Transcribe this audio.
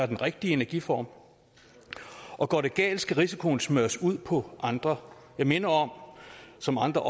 den rigtige energiform og går det galt skal risikoen smøres ud på andre jeg minder om som andre